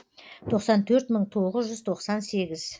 тоқсан төрт мың тоғыз жүз тоқсан сегіз